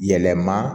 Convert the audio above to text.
Yɛlɛma